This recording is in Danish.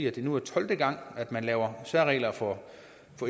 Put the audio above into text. at det nu er tolvte gang at man laver særregler for